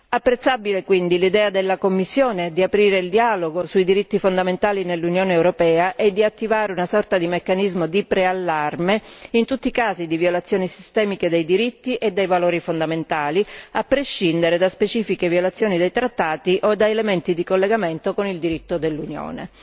Apprezzabile quindi l'idea della Commissione di aprire il dialogo sui diritti fondamentali nell'Unione europea e di attivare una sorta di meccanismo di preallarme in tutti i casi di violazione sistemica dei diritti e dei valori fondamentali, a prescindere da specifiche violazioni dei trattati o da elementi di collegamento con il diritto dell'Unione.